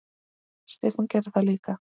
Stefán gerði það líka.